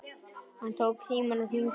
Hann tók símann og hringdi til Tóta.